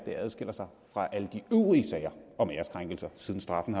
adskiller sig fra alle de øvrige sager om æreskrænkelser siden straffen